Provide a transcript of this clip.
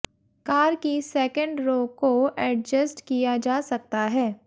car की second row को adjust किया जा सकता है